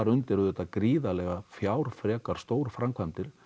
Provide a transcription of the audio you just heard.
undir gríðarlegar fjárfrekar stórframkvæmdir